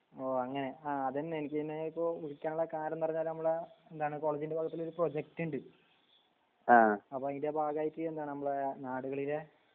ഓ അങ്ങനെ ആ അതെന്നെ എനിക്കിനെ പ്പോ വിളിക്കാന്ള്ള കാരണം ന്ന് പറഞ്ഞ ഞമ്മളെ എന്താണ് കോളേജിന്റെ ഭാഗത്തിലൊരു പ്രൊജക്റ്റ് ഇണ്ട് അപ്പൊ അയിന്റെ ഭാഗായിട്ട് എന്താണ് നമ്മടെ നാടുകളിലെ